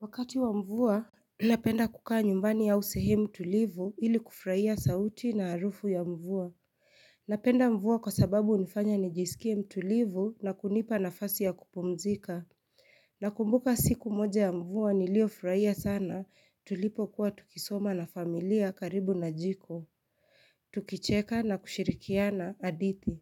Wakati wa mvua Napenda kukaa nyumbani ausehe mutulivu ili kufrurahia sauti na harufu ya mvua Napenda mvua kwa sababu hunifanya nijisikie mtulivu na kunipa na fasi ya kupumzika Nakumbuka siku moja ya mvua niliyo furahia sana tulipo kuwa tukisoma na familia karibu na jiko Tukicheka na kushirikiana hadithi